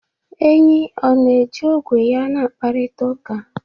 Enyí ọ na-eji ogwe ya na-akparịta ụka?